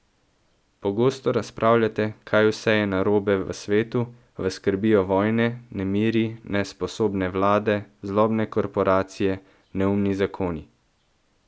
Pogosto razpravljate, kaj vse je narobe v svetu, vas skrbijo vojne, nemiri, nesposobne vlade, zlobne korporacije, neumni zakoni?